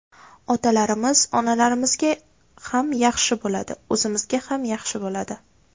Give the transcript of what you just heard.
Otalarimiz, onalarimizga ham yaxshi bo‘ladi, o‘zimizga ham yaxshi bo‘ladi.